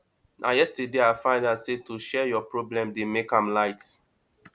na yesterday i find out sey to share your problem dey make am light